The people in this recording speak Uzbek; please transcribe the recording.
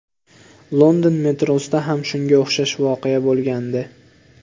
London metrosida ham shunga o‘xshash voqea bo‘lgandi”.